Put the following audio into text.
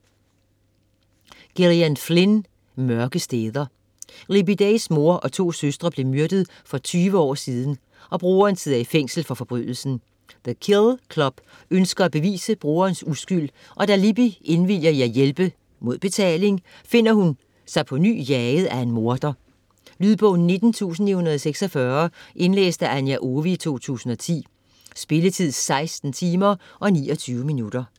Flynn, Gillian: Mørke steder Libby Days mor og to søstre blev myrdet for 20 år siden, og broderen sidder i fængsel for forbrydelsen. The Kill Club ønsker at bevise broderens uskyld, og da Libby indvilliger i at hjælpe - mod betaling - finder hun sig på ny jaget af en morder. Lydbog 19946 Indlæst af Anja Owe, 2010. Spilletid: 16 timer, 29 minutter.